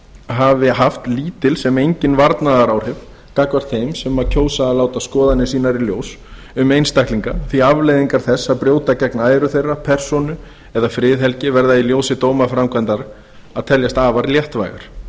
hafi haft lítil sem engin varnaðaráhrif gagnvart þeim sem kjósa að láta skoðanir sínar í ljós um einstaklinga því afleiðingar þess að brjóta gegn æru þeirra persónu eða friðhelgi verða í ljósi dómaframkvæmdar að teljast afar léttvægar